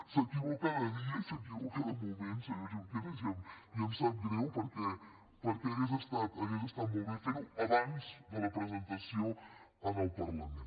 s’equivoca de dia i s’equivoca de moment senyor junqueras i em sap greu perquè hauria estat molt bé fer ho abans de la presentació en el parlament